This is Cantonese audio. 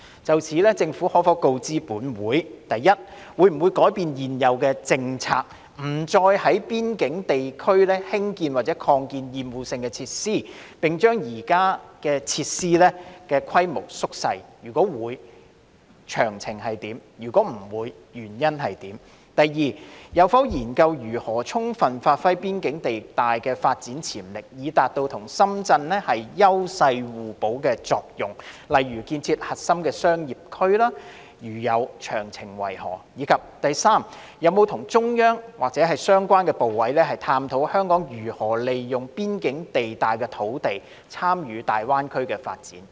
就此，政府可否告知本會：一會否改變政策，不再在邊境地帶興建或擴建厭惡性設施，並將現有設施縮小規模；如會，詳情為何；如否，原因為何；二有否研究可如何充分發揮邊境地帶的發展潛力，以達到與深圳"優勢互補"的作用，例如建設核心商業區；如有，詳情為何；及三有否與中央及相關部委，探討香港可如何利用邊境地帶土地，參與大灣區的發展？